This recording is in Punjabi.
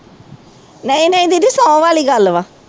ਨਹੀਂ ਨਹੀਂ ਦੀਦੀ ਸਹੁੰ ਵਾਲੀ ਗੱਲ ਵਾ।